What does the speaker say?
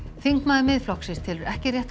þingmaður Miðflokksins telur ekki rétt að